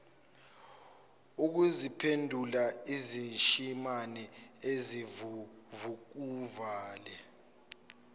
ukuziphendula isishimane esinguvukuvale